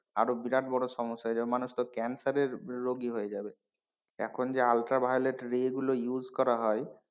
আরো বিরাট বড় সমস্যা হয়ে যাবে মানুষ তো cancer এর রোগী হয়ে যাবে এখন যে ultra violet ray গুলো use করা হয়,